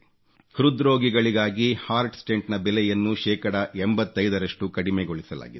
ಹೃದ್ರೋಗಿಗಳಿಗಾಗಿ heart stent ನ ಬೆಲೆಯನ್ನು ಶೇಕಡಾ 85 ರಷ್ಟು ಕಡಿಮೆಗೊಳಿಸಲಾಗಿದೆ